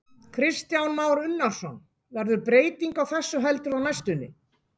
Kristján Már Unnarsson: Verður breyting á þessu heldurðu á næstunni?